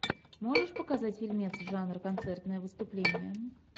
можешь показать фильмец жанр концертное выступление